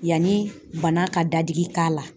Yanni bana ka dadigi k'a la